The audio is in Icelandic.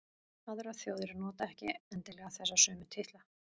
aðrar þjóðir nota ekki endilega þessa sömu titla